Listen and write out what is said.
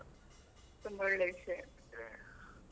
ತುಂಬಾ ಒಳ್ಳೇ ವಿಷಯ .